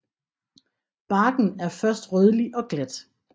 Barken er først rødlig og glat